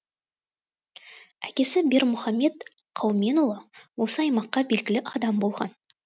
әкесі бермұхамед қауменұлы осы аймаққа белгілі адам болған